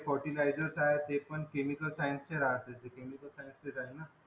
फेर्टीसशन आहेत केमिकल आहेत